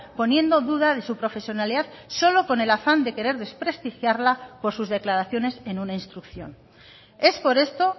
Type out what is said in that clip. poniendo duda de su profesionalidad solo con el afán de querer desprestigiarla por sus declaraciones en una instrucción es por esto